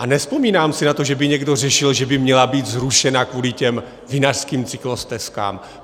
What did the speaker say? A nevzpomínám si na to, že by někdo řešil, že by měla být zrušena kvůli těm vinařským cyklostezkám.